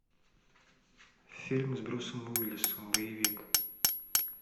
фильм с брюсом уиллисом боевик